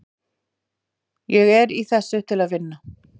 Ég er í þessu til að vinna.